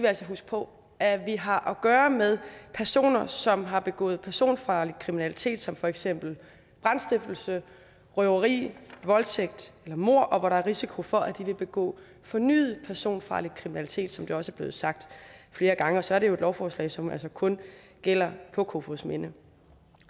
altså huske på at vi har at gøre med personer som har begået personfarlig kriminalitet som for eksempel brandstiftelse røveri voldtægt eller mord og hvor der er risiko for at de vil begå fornyet personfarlig kriminalitet som det også er blevet sagt flere gange og så er det jo et lovforslag som altså kun gælder for kofoedsminde